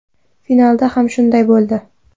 Finalda ham shunday bo‘ldi.